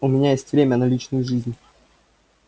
у меня есть время на личную жизнь